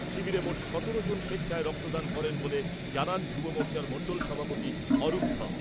শিবিরে মোট সতেরো জন স্বেচ্ছায় রক্তদান করেন বলে জানান যুব মোর্চার মন্ডল সভাপতি অরূপ ধর।